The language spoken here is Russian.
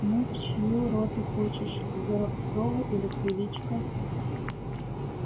ну в чью роту хочешь к горобцову или к величко